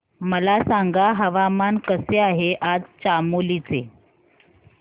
मला सांगा हवामान कसे आहे आज चामोली चे